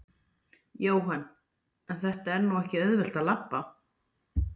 Jóhann: En það er nú ekkert auðvelt að labba?